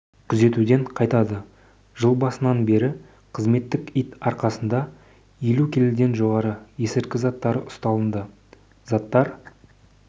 күзетуден қайтады жыл басынан бері қызметтік ит арқасында елу келіден жоғары есірткі заттары ұсталынды заттар